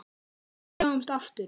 Við sjáumst aftur.